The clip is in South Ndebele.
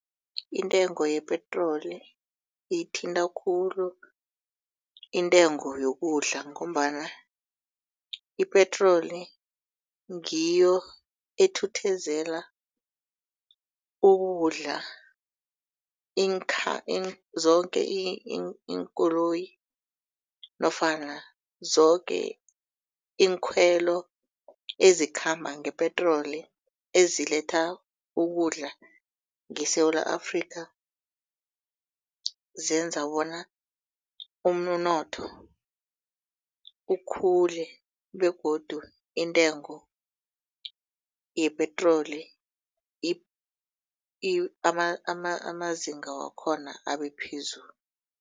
Intengo yepetroli iyithinta khulu intengo yokudla. Ngombana ipetroli ngiyo ethuthezela ukudla zoke iinkoloyi nofana zoke iinkhwelo ezikhamba ngepetroli eziletha ukudla ngeSewula Afrika. Zenza bona umunotho ukhule begodu intengo yepetroli amazinga wakhona abephezulu.